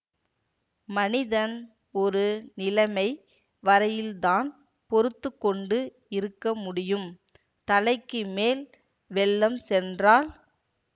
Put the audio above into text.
மனிதன் ஒரு நிலமை வரையில்தான் பொறுத்து கொண்டு இருக்க முடியும் தலைக்கு மேல் வெள்ளம் சென்றால்